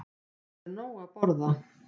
Það er nóg að borða.